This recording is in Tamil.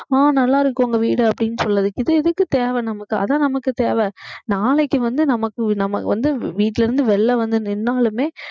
அஹ் நல்லா இருக்கு உங்க வீடு அப்படின்னு சொல்லுறதுக்கு இது எதுக்கு தேவை நமக்கு அதா நமக்குத் தேவை நாளைக்கு வந்து நமக்கு நமக்கு வந்து வீட்டுல இருந்து வெளியில வந்து நின்னாலுமே